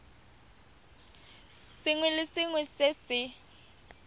sengwe le sengwe se se